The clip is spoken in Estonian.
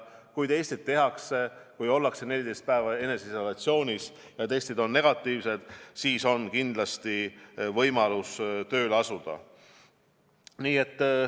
Kui testid tehakse või kui ollakse 14 päeva eneseisolatsioonis ja testid on negatiivsed, siis on kindlasti võimalus tööle asuda.